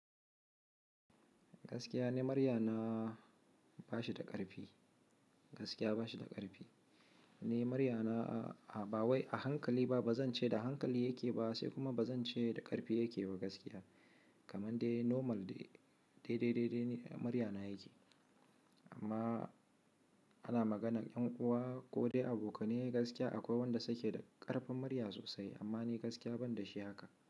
Gaskiya ne, muryana na ba shi da ƙarfi. Gaskiya ba shi da ƙarfi. Ni muryana a ba wai a hankali ba, ba zan ce da hankali yake ba sai kuma ba zan ce da ƙarfi yake ba gaskiya. Kaman dai normal dai, dai, dai, dai ne murya na yake. Amma ana maganar ƴan uwa ko dai abokanai gaskiya akwai wanda suke da ƙarfin murya sosai, amma ni gaskiya ban da shi haka.